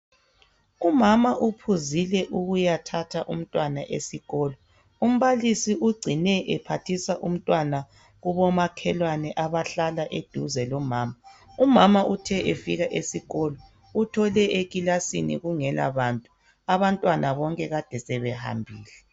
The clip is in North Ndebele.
Umama uphuzile ukuyathatha umntwana esikolo umbalisi ugcine ephathisa umntwana kubomakhelwane abahlala eduze lomama , umama uthe efika esikolo uthole ekilasini kungela bantu abantwana bonke kade sebehambile.